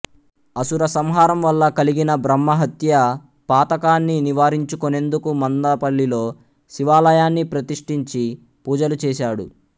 అసుర సంహారం వల్ల కలిగిన బ్రహ్మహత్యా పాతకాన్ని నివారించుకొనేందుకు మందపల్లిలో శివాలయాన్ని ప్రతిష్ఠించి పూజలు చేశాడు